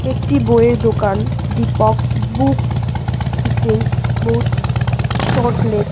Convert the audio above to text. একটি বইয়ের দোকান। দীপক বুক ডিস্টেন্স বুটস সট লেক ।